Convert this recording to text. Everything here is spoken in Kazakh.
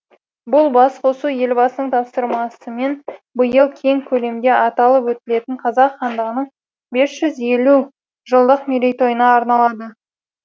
бұл басқосу елбасының тапсырмасымен биыл кең көлемде аталып өтілетін қазақ хандығының бес жүз елу жылдық мерейтойына арналды